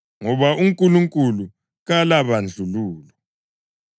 Ngoba uNkulunkulu kalabandlululo.